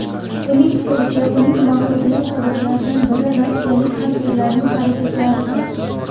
Uning fikricha, uning mag‘lubiyati sabablaridan biri rossiyalik xakerlarning harakatlaridir.